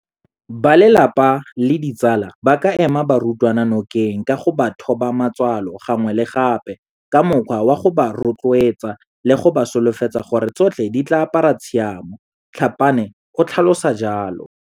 Balelapa le ditsala ba ka ema barutwana nokeng ka go ba thoba matswalo gangwe le gape ka mokgwa wa go ba rotloetsa le go ba solofetsa gore tsotlhe di tla apara tshiamo, Tlhapane o tlhalosa jalo.